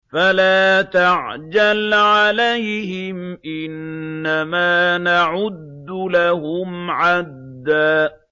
فَلَا تَعْجَلْ عَلَيْهِمْ ۖ إِنَّمَا نَعُدُّ لَهُمْ عَدًّا